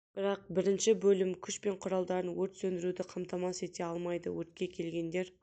бірақ бірінші бөлім күш пен құралдарды өрт сөндіруді қамтамасыз ете алмайды өртке келгендер